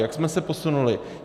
Jak jsme se posunuli?